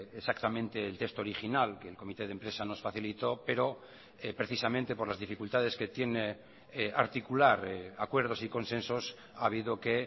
exactamente el texto original que el comité de empresa nos facilitó pero precisamente por las dificultades que tiene articular acuerdos y consensos ha habido que